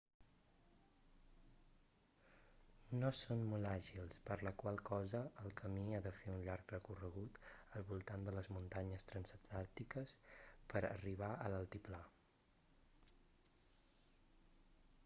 no són molt àgils per la qual cosa el camí ha de fer un llarg recorregut al voltant de les muntanyes transantàrtiques per arribar a l'altiplà